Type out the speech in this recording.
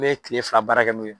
I be kile fila baara kɛ n'o ye.